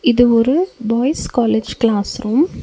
இது ஒரு boys college classroom .